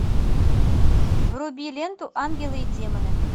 вруби ленту ангелы и демоны